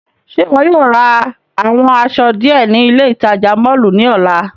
Ṣe iwọ yóò ra awọn aṣọ diẹ ni ile itaja mọllu ni ọla?